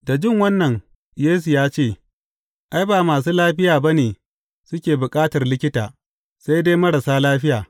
Da jin wannan, Yesu ya ce, Ai, ba masu lafiya ba ne su bukatar likita, sai dai marasa lafiya.